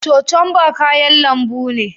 Cocumba kayan lambu ne.